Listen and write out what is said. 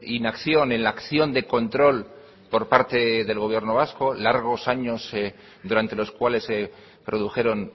inacción en la acción de control por parte del gobierno vasco largos años durante los cuales se produjeron